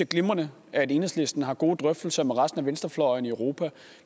glimrende at enhedslisten har gode drøftelser med resten af venstrefløjen i europa